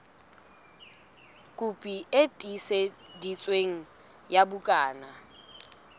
kopi e tiiseditsweng ya bukana